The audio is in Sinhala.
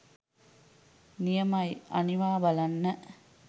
නියමයි අනිවා බලන්න